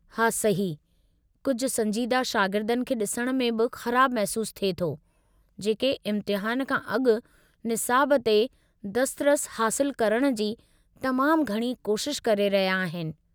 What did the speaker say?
हा, सही, कुझु संजीदह शागिर्दनि खे ॾिसण में बि ख़राबु महसूस थिए थो जेके इम्तिहान खां अॻु निसाब ते दस्तरस हासिलु करण जी तमामु घणी कोशिश करे रहिया आहिनि।